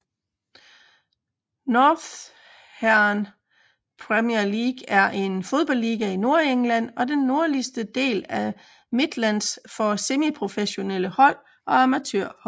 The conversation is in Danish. Northern Premier League er en fodboldliga i Nordengland og den nordlige del af Midlands for semiprofessionelle hold og amatørhold